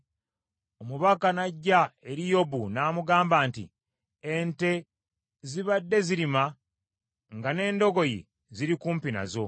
omubaka n’ajja eri Yobu n’amugamba nti, “Ente zibadde zirima nga n’endogoyi ziri kumpi nazo,